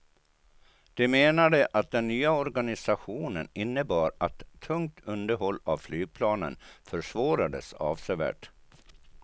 De menade att den nya organisationen innebar att tungt underhåll av flygplanen försvårades avsevärt.